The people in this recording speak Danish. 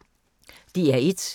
DR1